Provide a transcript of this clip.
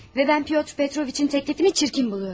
Və mən Pyotr Petroviçin təklifini çirkin buluyorum.